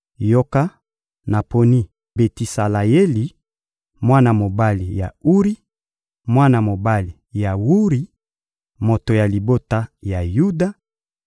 — Yoka, naponi Betisaleyeli, mwana mobali ya Uri, mwana mobali ya Wuri, moto ya libota ya Yuda;